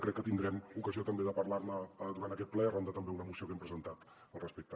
crec que tindrem ocasió també de parlar ne durant aquest ple arran també d’una moció que hem presentat al respecte